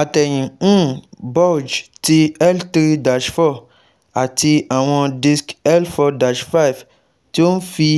Atẹyin um bulge ti L three - four ati awọn disc L four - five ti o nfi